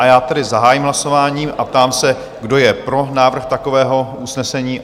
A já tedy zahájím hlasování a ptám se, kdo je pro návrh takového usnesení?